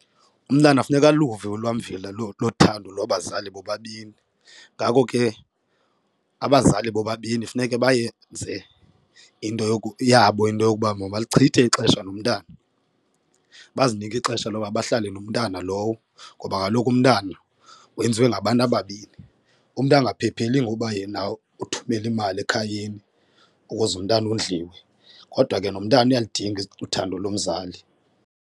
Umntana funeka aluve ulwamvila lothando lwabazali bobabini. Ngako ke abazali bobabini funeke bayenze into yabo into yokuba mabachithe ixesha nomntana. Bazinike ixesha loba bahlale nomntana lowo ngoba kaloku umntana wenziwe ngabantu ababini, umntu angaphepheli ngoba yena uthumela imali ekhayeni ukuze umntana ondliwe kodwa ke nomntana uyalidinga uthando lomzali.